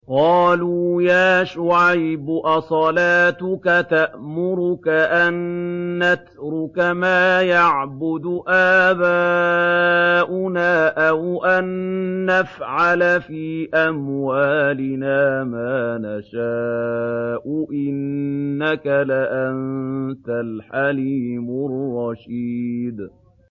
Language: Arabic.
قَالُوا يَا شُعَيْبُ أَصَلَاتُكَ تَأْمُرُكَ أَن نَّتْرُكَ مَا يَعْبُدُ آبَاؤُنَا أَوْ أَن نَّفْعَلَ فِي أَمْوَالِنَا مَا نَشَاءُ ۖ إِنَّكَ لَأَنتَ الْحَلِيمُ الرَّشِيدُ